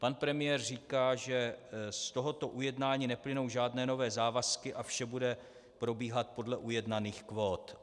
Pan premiér říká, že z tohoto ujednání neplynou žádné nové závazky a vše bude probíhat podle ujednaných kvót.